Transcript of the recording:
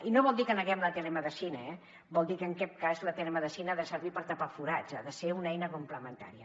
i no vol dir que neguem la telemedicina eh vol dir que en aquest cas la telemedicina ha de servir per tapar forats ha de ser una eina complementària